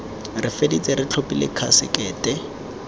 re feditse re tlhophile khasekete